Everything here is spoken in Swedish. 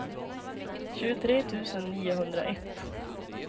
tjugotre tusen niohundraett